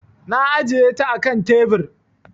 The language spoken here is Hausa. Na ajiye ta a kan tebir.